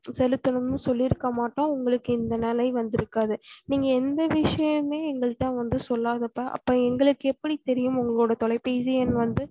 செலுத்தணு சொல்லி இருக்கமாட்டோம் உங்களக்கு இந்த நிலை வந்து இருக்காது நீங்க எந்த விஷியமுமே எங்கள்டவந்து சொல்லாதப்ப அப்போ எங்களுக்கு எப்படி வந்து தெரியும் உங்க தொலைபேசி எண் வந்து